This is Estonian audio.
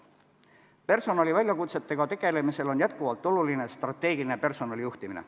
Personaliväljakutsetega tegelemisel on jätkuvalt oluline strateegiline personalijuhtimine.